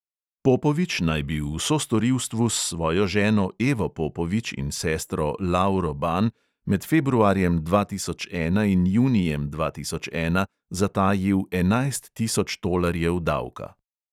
Popovič naj bi v sostorilstvu s svojo ženo evo popovič in sestro lauro ban med februarjem dva tisoč ena in junijem dva tisoč ena zatajil enajst tisoč tolarjev davka.